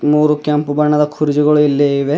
ಮೂರು ಕೆಂಪು ಬಣ್ಣದ ಕುರ್ಚಿಗಳು ಇಲ್ಲಿ ಇವೆ.